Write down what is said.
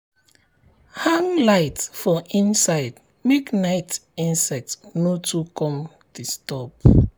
hang light for inside make night insect no too come disturb.